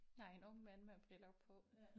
Nej en ung mand med briller på